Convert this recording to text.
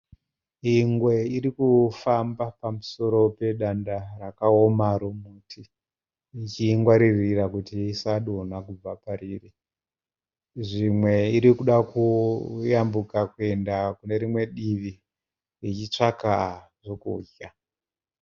Ingwe irikufamba pamusoro pedanda rakaoma remuti. Ichingwarira kuti isadonha pariri. Zvimwe irikuda kuenda kunerimwe divi ichitsvaka zvekudya.